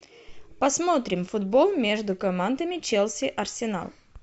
посмотрим футбол между командами челси арсенал